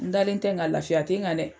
N dalen tɛ, nga lafiya te n kan dɛ!